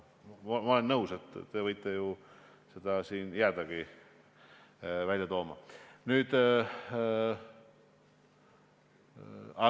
Ma olen nõus, et te võite jäädagi seda reklaami siin välja tooma.